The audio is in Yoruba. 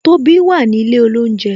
Tobi wà ní ilé olounje